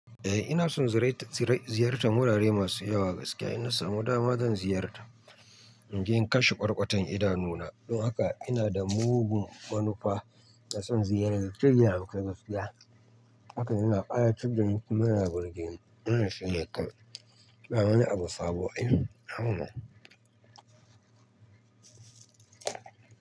Eh ina son zi-ziya-ziyartar wurare masu yawa gaskiya. Ina samu dama zan ziyarta, inje in kashe kwarkwatan idanuna. Don haka ina da mugun manufa na son ziyarar Najeriya a kai gaskiya. Hakan yana ƙayatar da ni kuma yana birge ni. Ina shirya kai, ba wani abu sabo Ay.